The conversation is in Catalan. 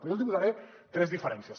però jo els hi posaré tres diferències